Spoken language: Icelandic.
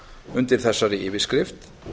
undir þessari yfirskrift